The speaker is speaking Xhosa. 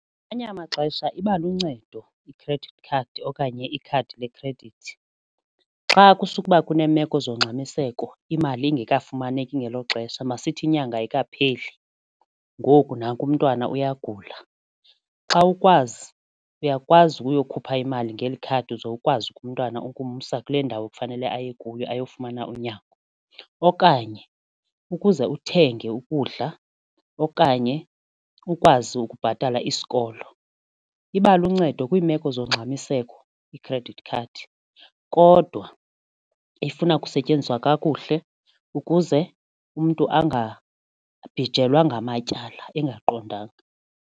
Ngamanye amaxesha iba luncedo i-credit card okanye ikhadi lekhredithi xa kusukuba kuneemeko zongxamiseko imali ingekafumaneki ngelo xesha masithi inyanga ayikapheli ngoku nanku umntwana uyagula. Xa ukwazi uyakwazi ukuyokhupha imali ngeli khadi uze ukwazi umntwana ukumsa kule ndawo kufanele aye kuyo ayofumana unyango. Okanye ukuze uthenge ukudla okanye ukwazi ukubhatala isikolo iba luncedo kwiimeko zongxamiseko i-credit card kodwa ifuna ukusetyenziswa kakuhle ukuze umntu angabhijelwa ngamatyala engaqondanga.